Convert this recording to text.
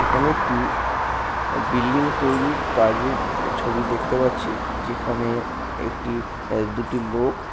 এখানে একটি বিল্ডিং তৈরির কাজের ই ছবি দেখতে পাচ্ছি যেখানে একটি আ দুটি লোক।